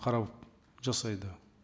қарап жасайды